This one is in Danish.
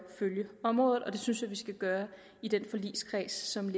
følge området og det synes jeg vi skal gøre i den forligskreds som